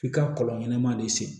F'i ka kɔlɔn ɲɛnɛman de sen